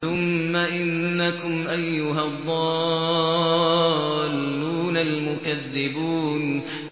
ثُمَّ إِنَّكُمْ أَيُّهَا الضَّالُّونَ الْمُكَذِّبُونَ